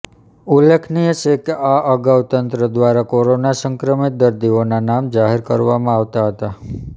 ઉલ્લેખનીય છે કે આ અગાઉ તંત્ર દ્વારા કોરોના સંક્રમિત દર્દીઓના નામ જાહેર કરવામાં આવતા હતા